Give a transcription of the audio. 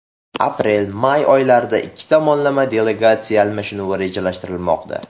Aprel-may oylarida ikki tomonlama delegatsiya almashinuvi rejalashtirilmoqda.